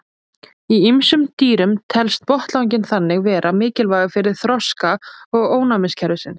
Í ýmsum dýrum telst botnlanginn þannig vera mikilvægur fyrir þroska ónæmiskerfisins.